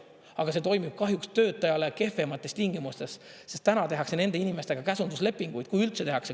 Aga see toimib kahjuks töötajale kehvemates tingimustes, sest täna tehakse nende inimestega käsunduslepingud, kui üldse tehakse.